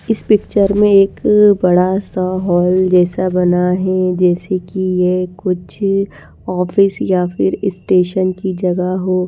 इस पिक्चर में एक अअ बड़ा सा हॉल जैसा बना है जैसे कि यह कुछ ऑफिस या फिर स्टेशन की जगह हो--